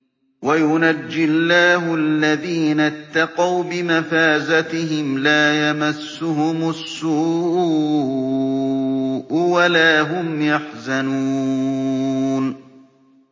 وَيُنَجِّي اللَّهُ الَّذِينَ اتَّقَوْا بِمَفَازَتِهِمْ لَا يَمَسُّهُمُ السُّوءُ وَلَا هُمْ يَحْزَنُونَ